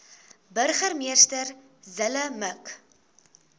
burgemeester zille mik